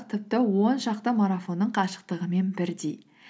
тіпті он шақты марафонның қашықтығымен бірдей